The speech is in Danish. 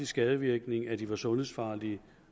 skadevirkning at de var sundhedsfarlige